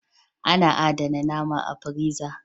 A na adana nama a firiza